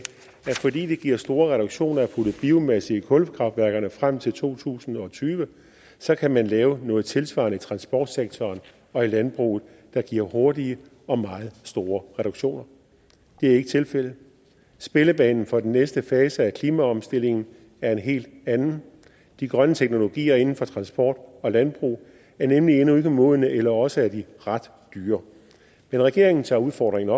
at fordi det giver store reduktioner at putte biomasse i kulkraftværkerne frem til to tusind og tyve så kan man lave noget tilsvarende i transportsektoren og i landbruget der giver hurtige og meget store reduktioner det er ikke tilfældet spillebanen for den næste fase af klimaomstillingen er en helt anden de grønne teknologier inden for transport og landbrug er nemlig endnu ikke modne eller også er de ret dyre men regeringen tager udfordringen